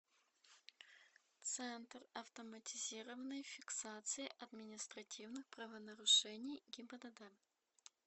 центр автоматизированной фиксации административных правонарушений гибдд